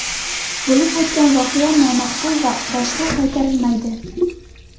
Bo‘lib o‘tgan voqea nomaqbul va u boshqa qaytarilmaydi”.